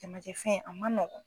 Jamajɛ fɛn a man nɔgɔn.